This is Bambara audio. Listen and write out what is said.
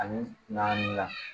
Ani naani